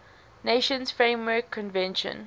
nations framework convention